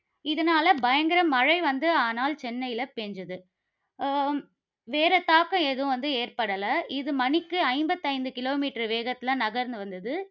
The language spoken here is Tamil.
இதனால பயங்கர மழை வந்து ஆனால் சென்னையில பெய்தது. அஹ் வேற தாக்கம் எதுவும் வந்து ஏற்படல. இது மணிக்கு ஐம்பத்தி ஐந்து kilometer வேகத்தில நகர்ந்து வந்தது.